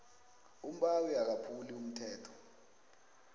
umbawi akaphuli umthetho